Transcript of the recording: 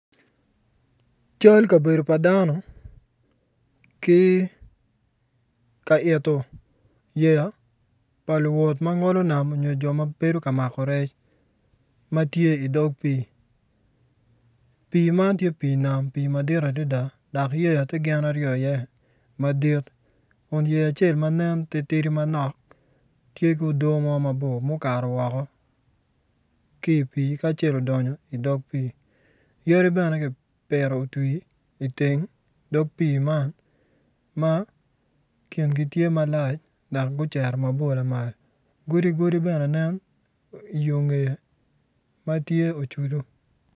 Cal kabedo pa dano ki ka ito yeya pa luwot ma ngolo nam nyo Jo ma bedo ka mako rec ma tye idog pii, pii man to pii nam madit adada yeya to gin aryo iye madit Kun yeya acel ma nen titidi manok tye ku udoo mabor mukato woko ki i pii ki acel odonyo ki idog pii yadi bene ki poto otwi ki idog pii man ma kingi to malac dok guceto mabor lamal godi godi bene nen i yo ngeye ma ocudu